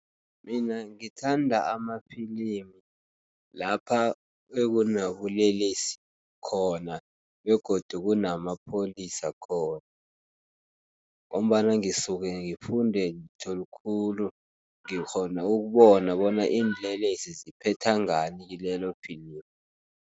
Mina ngithanda amafilimi lapha ekunebulelesi khona, begodu kunamapholisa khona, ngombana ngisuke ngifunde litho likhulu, ngikghona ukubona bona iinlelesi ziphetha ngani kilelo filimi.